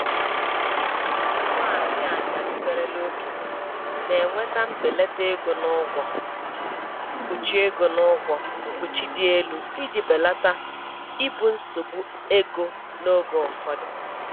Ndị ụmụ nwanyị ajadu merela okenye, na-enweta mbelata ego n'ụgwọ mkpuchi ego n'ụgwọ mkpuchi dị elu iji belata ibu nsogbu ego n'oge ụfọdụ.